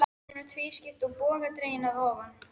Hún var tvískipt og bogadregin að ofan.